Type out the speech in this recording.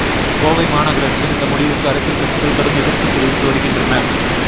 கோவை மாநகராட்சியின் இந்த முடிவுக்கு அரசியல் கட்சிகள் கடும் எதிர்ப்பு தெரிவித்து வருகின்றன